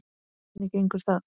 Hvernig gengur það?